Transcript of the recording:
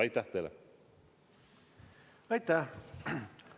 Aitäh!